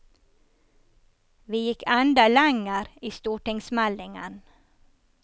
Vi gikk enda lenger i stortingsmeldingen.